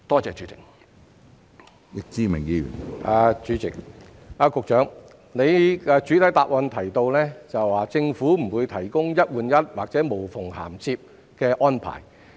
主席，局長在主體答覆中提及政府不會提供"一換一"或"無縫銜接"的安排。